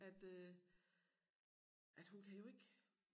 At øh at hun kan jo ikke